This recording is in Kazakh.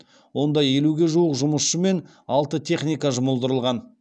онда елуге жуық жұмысшы мен алты техника жұмылдырылған